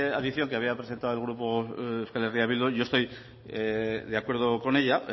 adición que había el grupo eh bildu yo estoy de acuerdo con ella